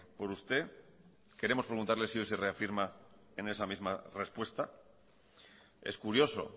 por usted queremos preguntarle si hoy se reafirma en esa misma respuesta es curioso